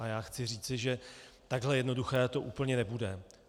A já chci říci, že takhle jednoduché to úplně nebude.